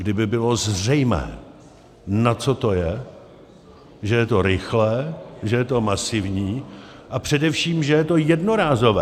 Kdyby bylo zřejmé, na co to je, že je to rychlé, že je to masivní a především že je to jednorázové.